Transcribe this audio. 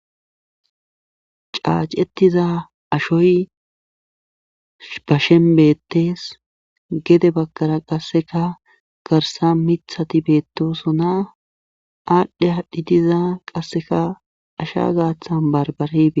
Caacetiza ashoy bashen bettes gede bakkara qasseka garsa mithati beettosona aadhdhe haadhdhi diza qasseka asha gaathan barbarei.